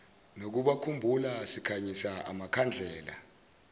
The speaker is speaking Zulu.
nokubakhumbula sikhanyisa amakhandlela